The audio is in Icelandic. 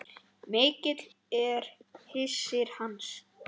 Mikill er missir hans.